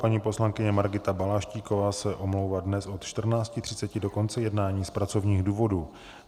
Paní poslankyně Margita Balaštíková se omlouvá dnes od 14.30 do konce jednání z pracovních důvodů.